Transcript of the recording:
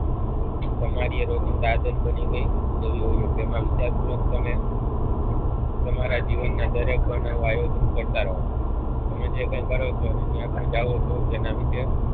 તમારી રોજિંદા આદત બની ગઈ જોવી હોઈએ જેમાં વિચાર પૂર્વક તમે તમારા જીવનના દરેક બનાવો આયોજન કરતા રહો તમે જે કઈ કરો છો ને જ્યાં પણ જાઓ છો તેના વિશે